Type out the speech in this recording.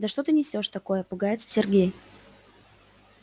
да что ты несёшь такое пугается сергей